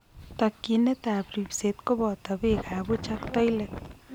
Tokyinet ab ribseet kobooto beek ab buch ak toilet